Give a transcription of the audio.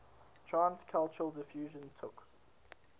trans cultural diffusion took